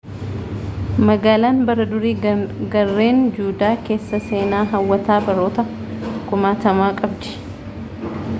magaalaan bara durii gaarreen juudaa keessaa seenaa hawwataa baroota kumaatamaa qabdi